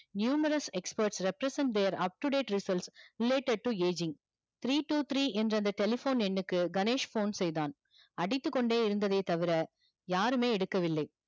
numerous experts represents there upto date results related to aging three two three என்ற அந்த telephone எண்ணுக்கு Ganesh phone செய்தான் அடித்து கொண்டே இருந்தது தவிர யாருமே எடுக்க வில்லை.